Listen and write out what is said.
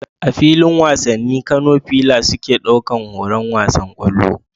A filin wasanni, Kano fila suke ɗaukar horon wasan kwallo